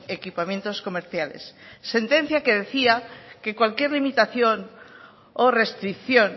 equipamientos comerciales sentencia que decía que cualquier limitación o restricción